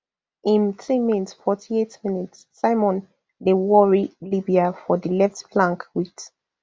im teammate forty-eight minssimon dey worry libya for di left flank wit